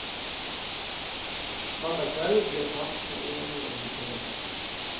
Mandag kveld ble partene enige om betingelsene.